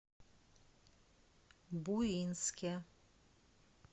буинске